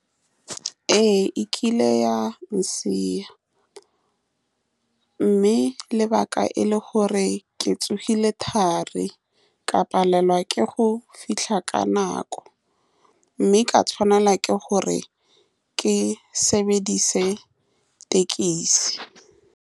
Ee, e kile ya , mme lebaka e le gore ke tsogile thari ka palelwa ke go fitlha ka nako, mme ka tshwanela ke gore ke sebedise le thekisi.